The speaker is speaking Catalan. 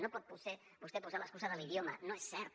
no pot vostè posar l’excusa de l’idioma no és cert